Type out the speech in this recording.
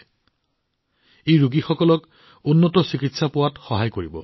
ইয়াৰ সৈতে ৰোগীসকলে ইয়াত উন্নত চিকিৎসা লাভ কৰিবলৈ সক্ষম হব